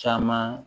Caman